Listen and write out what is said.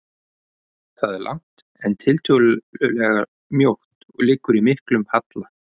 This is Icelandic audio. Það er langt, en tiltölulega mjótt og liggur í miklum halla.